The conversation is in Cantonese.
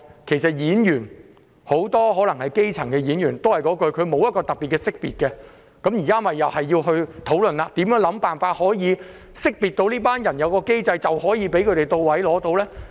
其實，很多演員也是基層市民，這行業也欠缺識別機制，所以現在又要討論如何識別這一類人，只要有機制，便可以為他們提供資助。